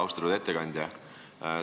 Austatud ettekandja!